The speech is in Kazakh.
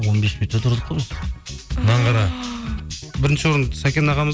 он бес минут та тұрдық қой біз мынаны қара бірінші орынды сәкен ағамыз